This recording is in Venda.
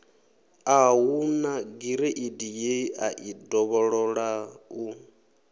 a hu nagireidi yeai dovhololau